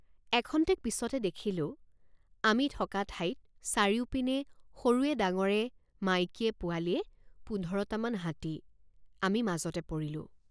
এখন্তেক পিচতে দেখিলোঁ আমি থকা ঠাইত চাৰিওপিনে সৰুৱেডাঙৰে মাইকীয়েপোৱালিয়ে পোন্ধৰটামান হাতী আমি মাজতে পৰিলোঁ।